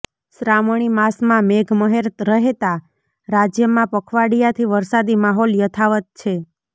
શ્રાવણી માસમાં મેઘ મહેર રહેતા રાજ્યમાં પખવાડિયાથી વરસાદી માહોલ યથાવત છે